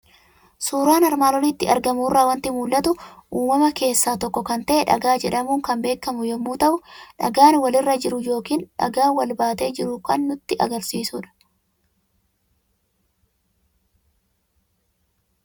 Suuraa armaan olitti argamu irraa waanti mul'atu; uumama keessaa tokko kan ta'e, dhagaa jedhamuun kan beekamu yommuu ta'u, dhagaa wal irra jiru yookiin immoo dhagaa wal baatee jiru kan nutti agarsiisudha.